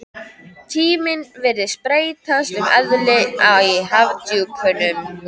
Tíminn virtist breyta um eðli í hafdjúpunum.